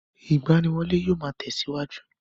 Ìgbaniwọlé yóò máa tẹ̀síwájú.